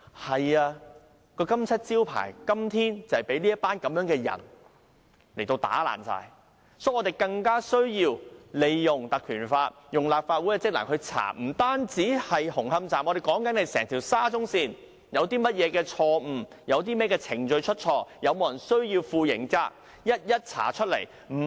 但這金漆招牌今天就被這群人打爛，所以更加需要我們引用《條例》成立專責委員會，不單紅磡站，而是整條沙中線有甚麼錯失、有甚麼程序出錯、是否有人要負上刑責，均要一一查明，不是"我告訴 OK 就 OK"。